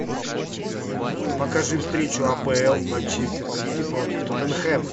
покажи встречу апл манчестер сити против тоттенхэма